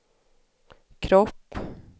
kropp